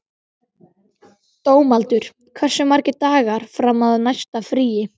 Dómaldur, hversu margir dagar fram að næsta fríi?